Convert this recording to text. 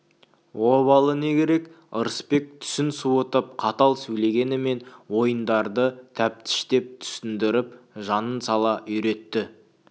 обалы не керек ырысбек түсін суытып қатал сөйлегенімен ойындарды тәптіштеп түсіндіріп жанын сала үйретті